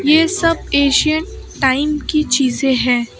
ये सब Asian time की चीजे हैं।